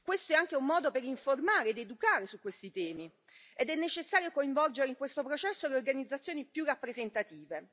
Questo è anche un modo per informare ed educare su questi temi ed è necessario coinvolgere in questo processo le organizzazioni più rappresentative.